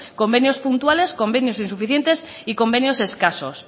convenios puntuales convenios insuficientes y convenios escasos